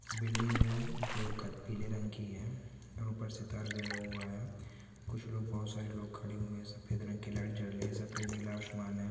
Building जो है जो पीले रंग की है और ऊपर से तार गया हुआ है कुछ लोग बोहोत सारे लोग खड़े हुए है सफेद रंग की लाईट जल रही है सफेद नीला आसमान है।